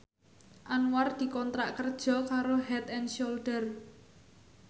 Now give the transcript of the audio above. Anwar dikontrak kerja karo Head and Shoulder